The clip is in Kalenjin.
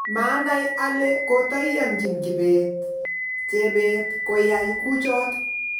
Manai ale kotayanjin Kibet ,jebet koyai kuchot